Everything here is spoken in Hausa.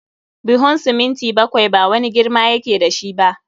Buhun siminti bakwai ba wani girma ya ke da shi ba.